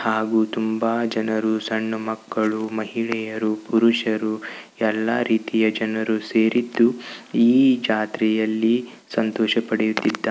ಹಾಗೂ ತುಂಬಾ ಜನರು ಸಣ್ಣ ಮಕ್ಕಳು ಮಹಿಳೆಯರು ಪುರುಷರು ಎಲ್ಲಾ ರೀತಿಯ ಜನರು ಸೇರಿದ್ದು ಈ ಜಾತ್ರೆಯಲ್ಲಿ ಸಂತೋಷ್ ಪಡೆಯುತ್ತಿದ್ದಾ --